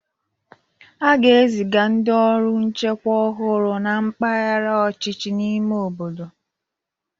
A ga-eziga ndị ọrụ nchekwa ọhụrụ na mpaghara ọchịchị ime obodo